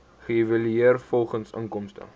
geëvalueer volgens inkomste